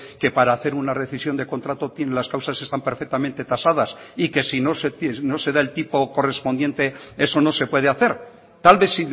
que para hacer una recisión de contrato tiene las causas están perfectamente tasadas y que si no se da el tipo correspondiente eso no se puede hacer tal vez